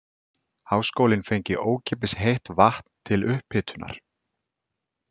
Háskólinn fengi ókeypis heitt vatn til upphitunar.